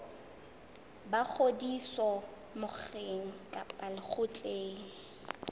ba ngodiso mokgeng kapa lekgotleng